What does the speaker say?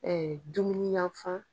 dumuni yanfan.